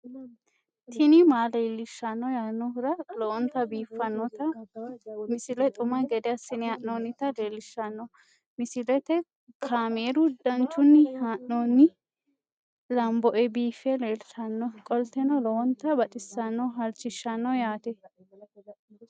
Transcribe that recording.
tini maa leelishshanno yaannohura lowonta biiffanota misile xuma gede assine haa'noonnita leellishshanno misileeti kaameru danchunni haa'noonni lamboe biiffe leeeltannoqolten lowonta baxissannoe halchishshanno yaate